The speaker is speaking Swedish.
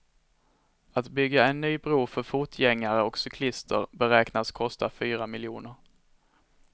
Att bygga en ny bro för fotgängare och cyklister beräknas kosta fyra miljoner.